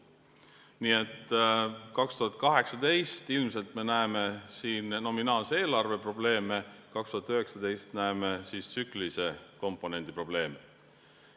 Nii et 2018 me näeme siin nominaalse eelarve probleeme, 2019 näeme tsüklilise komponendi probleeme.